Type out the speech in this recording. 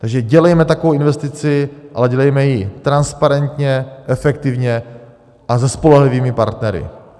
Takže dělejme takovou investici, ale dělejme ji transparentně, efektivně a se spolehlivými partnery.